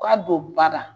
K'a don ba la